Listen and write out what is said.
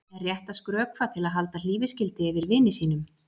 Er rétt að skrökva til að halda hlífiskildi yfir vini sínum?